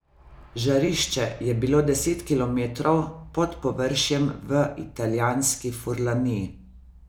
Žarišče je bilo deset kilometrov pod površjem v italijanski Furlaniji.